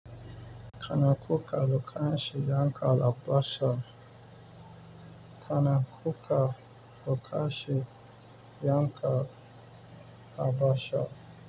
Kana kuka lokacin yanka albasa? Kana kuka lokaci yanka albasa.